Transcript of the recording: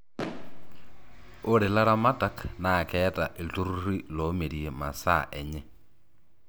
ore laramatak naa keeta ilturruri loomirie masaa enye